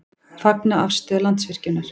Fagna afstöðu Landsvirkjunar